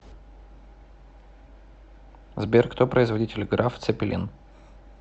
сбер кто производитель граф цеппелин